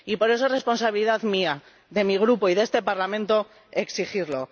Y por eso, es responsabilidad mía, de mi Grupo y de este Parlamento, exigirlo.